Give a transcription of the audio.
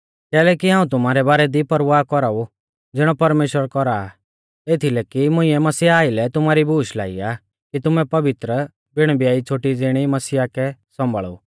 कैलैकि हाऊं तुमारै बारै दी परवाह कौराऊ ज़िणौ परमेश्‍वर कौरा आ एथीलै कि मुंइऐ मसीहा आइलै तुमारी बूश लाई आ कि तुमैं पवित्र बिण ब्याई छ़ोटी ज़िणी मसीहा कै सौंभाल़ु